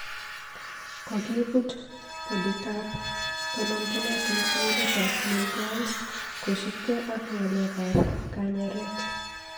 Kogibut boditab tononjinet eng sugulitab Moi Girls kosupkei ak ng'aleek ab kanyeeret